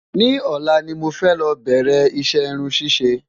ni òla ní mọ fẹ ló bẹrẹ iṣẹ irún ṣiṣẹ